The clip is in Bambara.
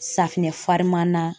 Safinɛ farimanan